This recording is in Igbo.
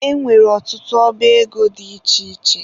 E nwere ọtụtụ ọba ego dị iche iche.